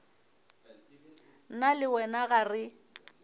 nna le wena ga re